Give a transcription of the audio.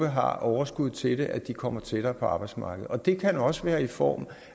har overskud til det kommer tættere på arbejdsmarkedet det kan også være i form